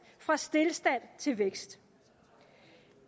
fra stilstand til vækst